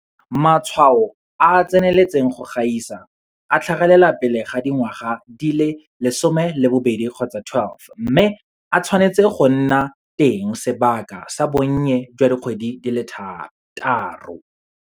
Matshwao a a tseneletseng go gaisa a tlhagelela pele ga dingwaga di le 12 mme a tshwanetse go nna teng sebaka sa bonnye jwa dikgwedi di le thataro.